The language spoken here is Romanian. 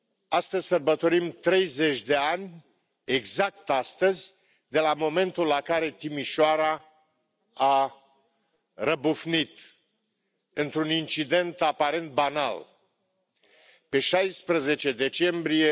Astăzi sărbătorim 30 de ani, exact astăzi, de la momentul în care Timișoara a răbufnit într un incident aparent banal, pe 16 decembrie